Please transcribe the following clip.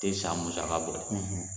Tɛ san musaka bɔ